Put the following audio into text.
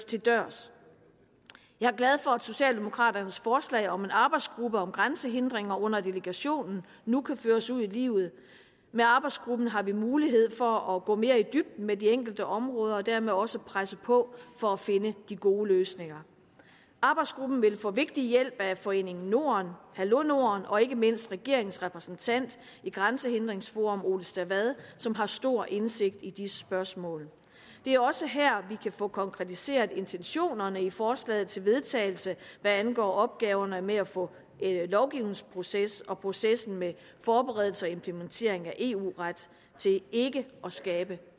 til dørs jeg er glad for at socialdemokraternes forslag om en arbejdsgruppe om grænsehindringer under delegationen nu kan føres ud i livet med arbejdsgruppen har vi mulighed for at gå mere i dybden med de enkelte områder og dermed også presse på for at finde de gode løsninger arbejdsgruppen vil få vigtig hjælp af foreningen norden hallo norden og ikke mindst regeringens repræsentant i grænsehindringsforum ole stavad som har stor indsigt i disse spørgsmål det er også her vi kan få konkretiseret intentionerne i forslaget til vedtagelse hvad angår opgaverne med at få lovgivningsproces og processen med forberedelse og implementering af eu ret til ikke at skabe